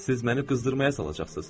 Siz məni qızdırmaya salacaqsız.